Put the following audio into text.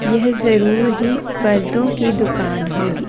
यह जरूर ही परदों की दुकान होगी।